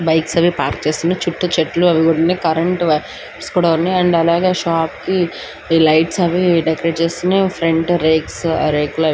చుట్టూ చెట్లు ఉన్నాయి కరెంట్ కూడా ఉంది ఒక షాప్ ఉంది షాప్ కి డెకరేషన్ చేసి ఉంది.